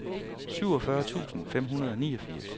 syvogfyrre tusind fem hundrede og niogfirs